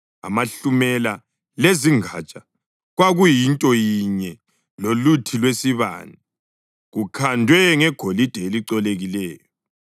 Amahlumela lezingatsha kwakuyinto yinye loluthi lwesibane, kukhandwe ngegolide elicolekileyo.